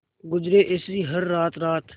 गुजरे ऐसी हर रात रात